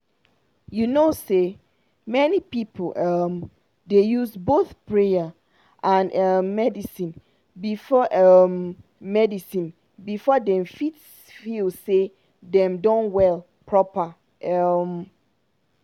you know say many people um dey use both prayer and um medicine before um medicine before dem fit feel say dem don well proper. um